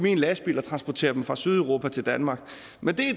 i en lastbil og transporteret fra sydeuropa til danmark men